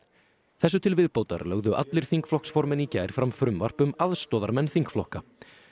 þessu til viðbótar lögðu allir þingflokksformenn í gær fram frumvarp um aðstoðarmenn þingflokka